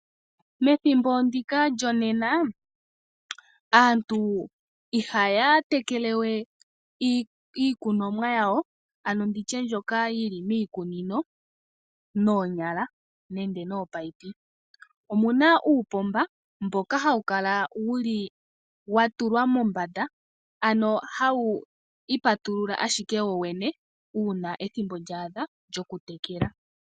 Methimbo ndika lyonena, aantu ihaya tekele we iikunomwa yawo mboka yili miikunino noonyala nenge noopayipi. Omuna uupomba mboka hawukala wuli watulwa mombanda mboka hawu ipatulula ashike woyene uuna ethimbo lyaadha lyokutekela.